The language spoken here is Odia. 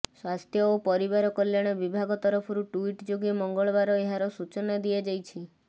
ସ୍ବାସ୍ଥ୍ୟ ଓ ପରିବାର କଲ୍ୟାଣ ବିଭାଗ ତରଫରୁ ଟ୍ବିଟ୍ ଯୋଗେ ମଙ୍ଗଳବାର ଏହାର ସୂଚନା ଦିଆଯାଇଛି